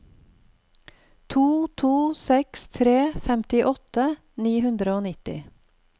to to seks tre femtiåtte ni hundre og nitti